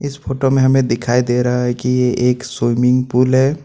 इस फोटो में हमें दिखाई दे रहा है कि ये एक स्विमिंग पूल है।